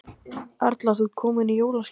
Erla, ert þú komin í jólaskap?